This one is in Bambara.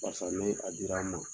Barisa ni a dira n ma.